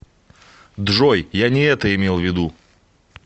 джой я не это имел ввиду